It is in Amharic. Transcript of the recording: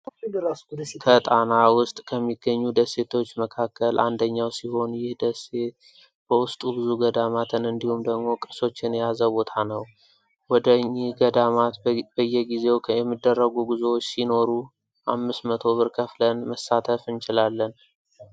ከጠና ውስጥ ከሚገኙ ደሴቶች መካከል አንደኛው ሲሆን ይህ ደሴ በውስጡ ብዙ ገዳማትን እንዲሁም ደግሞ ቅርሶችን የያዘ ቦታ ነው። ወደ እጊህ ገዳማት በየጊዜው የሚደረጉ ጉዞዎች ሲኖሩ አምስት መቶ ብር ከፍለን መሳተፍ እንችላለን።